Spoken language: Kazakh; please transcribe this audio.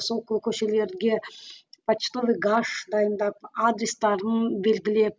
сол көшелерге почтовый гаш дайындап адрестерін белгілеп